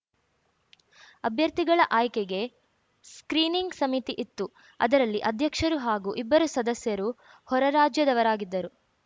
ಅಭ್ಯರ್ಥಿಗಳ ಆಯ್ಕೆಗೆ ಸ್ಕ್ರೀನಿಂಗ್‌ ಸಮಿತಿ ಇತ್ತು ಅದರಲ್ಲಿ ಅಧ್ಯಕ್ಷರು ಹಾಗೂ ಇಬ್ಬರು ಸದಸ್ಯರು ಹೊರರಾಜ್ಯದವರಾಗಿದ್ದರು